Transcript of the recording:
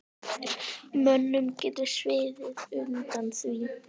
Mönnum getur sviðið undan því.